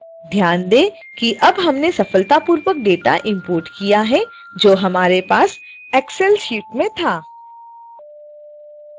ध्यान दें कि अब हमने सफलतापूर्वक डेटा इंपोर्ट किया है जो हमारे पास excel sheet में था